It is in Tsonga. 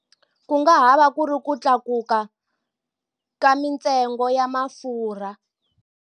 Ku nga ha va ku ri ku tlakuka ka mintsengo ya mafurha.